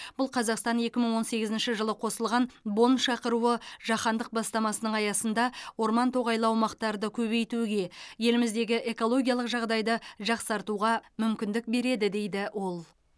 бұл қазақстан екі мың он сегізінші жылы қосылған бонн шақыруы жаһандық бастамасының аясында орман тоғайлы аумақтарды көбейтуге еліміздегі экологиялық жағдайды жақсартуға мүмкіндік береді дейді ол